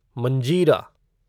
मंजीरा